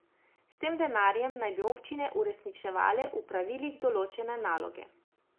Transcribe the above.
S tem denarjem naj bi občine uresničevale v pravilih določene naloge.